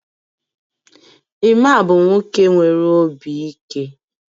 Emma bụ nwoke nwere obi ike